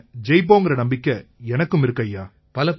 நாம ஜெயிப்போங்கற நம்பிக்கை எனக்கும் இருக்கு ஐயா